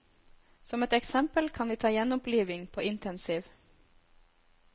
Som et eksempel kan vi ta gjenoppliving på intensiv.